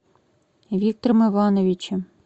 виктором ивановичем